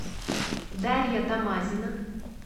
дарья тамазина